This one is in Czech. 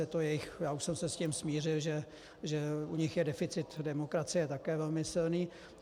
Je to jejich - já už jsem se s tím smířil, že u nich je deficit demokracie také velmi silný.